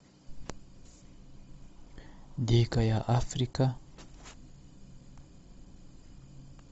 дикая африка